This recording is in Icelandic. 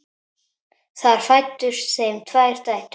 Þar fæddust þeim tvær dætur.